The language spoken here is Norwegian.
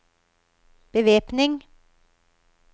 bevæpning